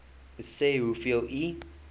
sê hoeveel u